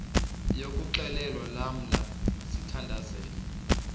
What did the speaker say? yokuxhelwa lamla sithandazel